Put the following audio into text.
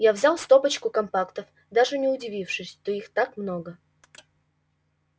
я взял стопочку компактов даже не удивившись что их так много